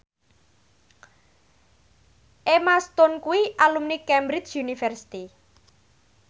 Emma Stone kuwi alumni Cambridge University